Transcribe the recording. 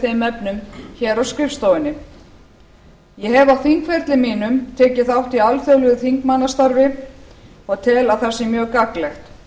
þeim efnum hér á skrifstofunni ég hef á þingferli mínum tekið þátt í alþjóðlegu þingmannasamstarfi og tel að það sé mjög gagnlegt